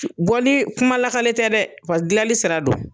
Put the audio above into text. Bɔli kuma lakali tɛ dɛ gilali sira don.